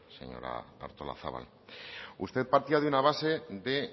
señora artolazabal usted partía de una base de